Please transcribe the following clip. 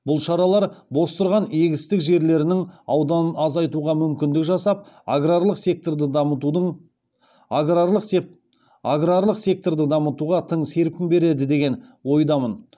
бұл шаралар бос тұрған егістік жерлерінің ауданын азайтуға мүмкіндік жасап аграрлық секторды дамытуға тың серпін береді деген ойдамын